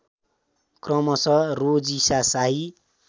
क्रमशः रोजिशा शाही